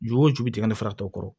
Ju o ju bɛ tigɛ ne fa tɔ kɔrɔ